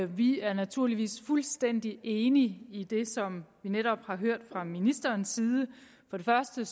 vi er naturligvis fuldstændig enige i det som vi netop har hørt fra ministerens side først og